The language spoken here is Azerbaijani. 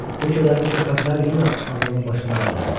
Bu kədərli söhbətlər yenə ağlını başından aldı.